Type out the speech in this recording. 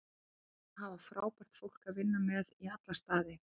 Ég er búinn að hafa frábært fólk að vinna með í alla staði.